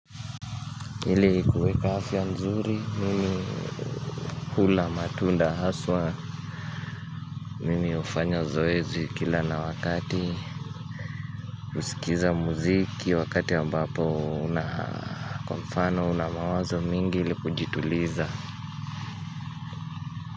Ili kuweka afya nzuri, mimi hula matunda haswa, mimi hufanya zoezi kila na wakati, usikiza muziki wakati ambapo nakwa mfano una mawazo mingi ili kujituliza.